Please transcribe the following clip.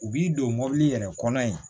U b'i don mɔbili yɛrɛ kɔnɔ yen